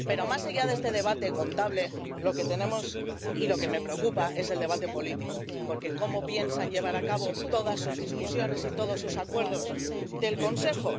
Pero, más allá de este debate contable, lo que tenemos y lo que me preocupa es el debate político porque, ¿cómo piensan llevar a cabo todas sus discusiones y todos sus acuerdos del Consejo?